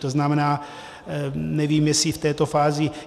To znamená, nevím, jestli v této fázi...